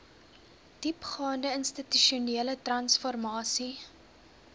diepgaande institusionele transformasie